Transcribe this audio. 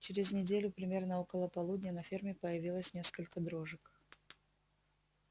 через неделю примерно около полудня на ферме появилось несколько дрожек